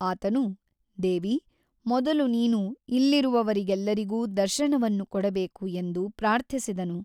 ಆತನು ದೇವಿ ಮೊದಲು ನೀನು ಇಲ್ಲಿರುವವರೆಲ್ಲರಿಗೂ ದರ್ಶನವನ್ನು ಕೊಡಬೇಕು ಎಂದು ಪ್ರಾರ್ಥಿಸಿದನು.